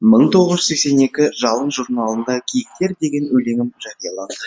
мың тоғыз жүз сексен екі жалын журналында киіктер деген өлеңім жарияланды